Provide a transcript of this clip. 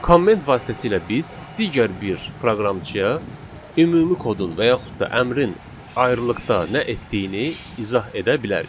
Komment vasitəsilə biz digər bir proqramçıya ümumi kodun və yaxud da əmrin ayrıqda nə etdiyini izah edə bilərik.